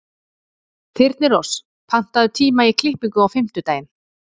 Þyrnirós, pantaðu tíma í klippingu á fimmtudaginn.